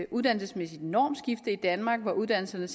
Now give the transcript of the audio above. uddannelsesmæssigt normskifte i danmark hvor uddannelserne